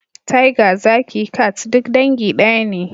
Tiger, zaki, cat duk dangi daya ne